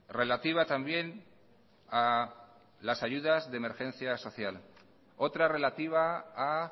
relativa también a las ayudas de emergencia social otra relativa a